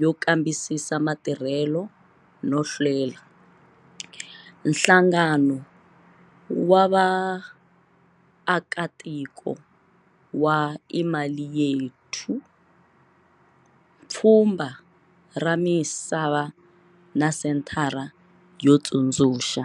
yo Kambisisa Matirhelo no Hlela, nhlangano wa vaakatiko wa Imali Yethu, Pfhumba ra Misa va na Senthara yo Tsundzuxa.